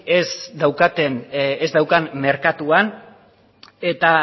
ez daukan merkatuan eta